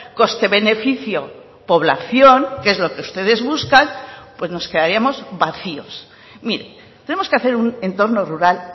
coste beneficio población que es lo que ustedes buscan pues nos quedaríamos vacíos mire tenemos que hacer un entorno rural